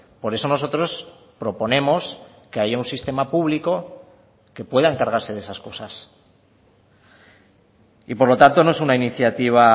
por eso nosotros proponemos que haya un sistema público que pueda encargarse de esas cosas y por lo tanto no es una iniciativa